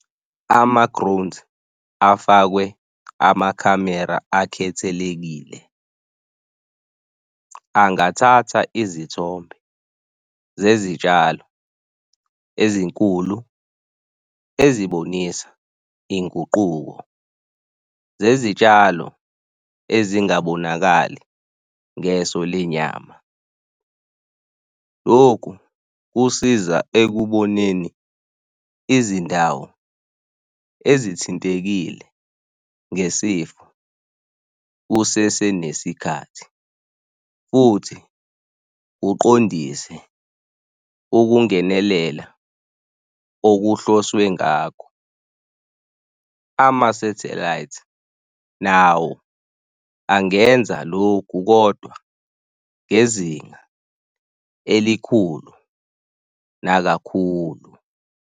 Ama-drones afakwe amakhamera akhethelekile angathatha izithombe zezitshalo ezinkulu ezibonisa inguquko zezitshalo ezingabonakali ngeso lenyama. Loku kusiza ekuboneni izindawo ezithintekile ngesifo kusese nesikhathi futhi uqondise ukungenelela okuhloswe ngakho. Ama-satellite nawo angenza lokhu, kodwa ngezinga elikhulu nakakhulu.